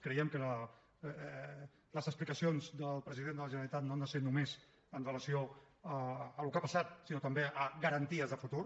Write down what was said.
creiem que les explicacions del president de la generalitat no han de ser només amb relació al que ha passat sinó també a garanties de futur